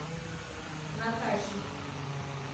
натахи